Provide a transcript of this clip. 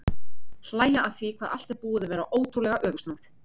Hlæja að því hvað allt er búið að vera ótrúlega öfugsnúið.